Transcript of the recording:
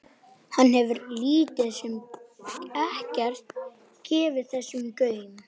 Hann hefur lítið sem ekkert gefið þessu gaum.